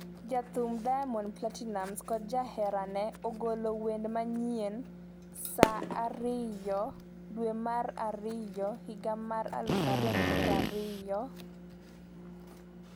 Jathum Diamond Platnumz kod jaherane ogolo wende manyien, Saa 2,0020 dwe mar ariyo higa mar 2020 saa 0:55 Video,